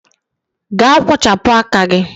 Gaa kpochapụ aka gị